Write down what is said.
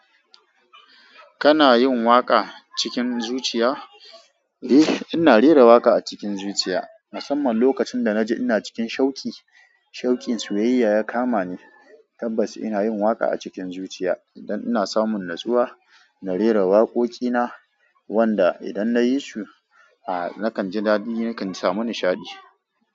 Kana yin waƙa cikin zuciya? Eh, ina rera waƙa a cikin zuciya, musamman lokacin da na ji ina cikin shauki. Shawkin soyayya ya kama ni, tabbas ina yin waƙa a cikin zuciya. Idan ina samun natsuwa, na rera waƙoƙi na, wanda idan na yi su, a nakan ji daɗi, nakan samu nishaɗi.